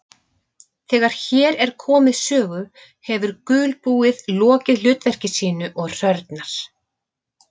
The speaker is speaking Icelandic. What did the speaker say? Þegar hér er komið sögu hefur gulbúið lokið hlutverki sínu og hrörnar.